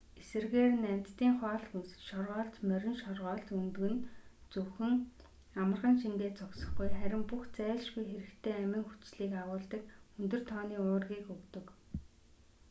эсрэгээр нь амьтдын хоол хүнс шоргоолж морин шоргоолж өндөг нь зөвхөн амархан шингээд зогсохгүй харин бүх зайлшгүй хэрэгтэй амин хүчлийг агуулдаг өндөр тооны уургийг өгдөг